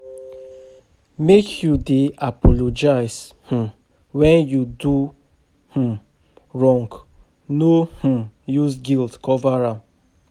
Make you dey apologize um wen you do um wrong no um use guilt cover am.